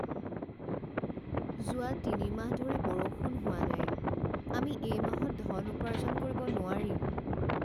যোৱা তিনি মাহ ধৰি বৰষুণ হোৱা নাই। আমি এই মাহত ধন উপাৰ্জন কৰিব নোৱাৰিম।